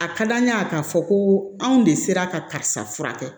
A ka d'an ye k'a fɔ ko anw de sera ka karisa kɛ